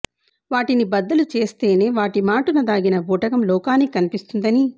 వాటిని బద్దలు చేస్తేనే వాటి మాటున దాగిన బూటకం లోకానికి కనిపిస్తుందని